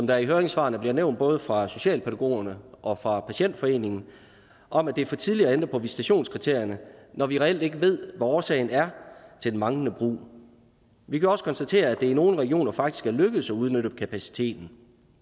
der i høringssvarene bliver nævnt både fra socialpædagogerne og fra patientforeningen om at det er for tidligt at ændre på visitationskriterierne når vi reelt ikke ved hvad årsagen er til den manglende brug vi kan også konstatere at det i nogle regioner faktisk er lykkedes at udnytte kapaciteten